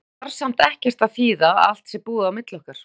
Þetta þarf samt ekkert að þýða að allt sé búið á milli okkar.